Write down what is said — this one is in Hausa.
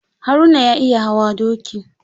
Haruna ya iya hawa doki.